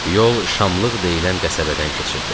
Yol Şamlıq deyilən qəsəbədən keçirdi.